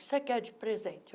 O que você quer de presente?